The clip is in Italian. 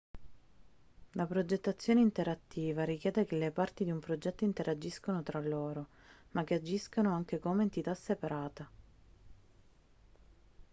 la progettazione interattiva richiede che le parti di un progetto interagiscano tra loro ma che agiscano anche come entità separata